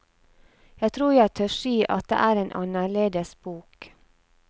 Jeg tror jeg tør si at det er en annerledes bok.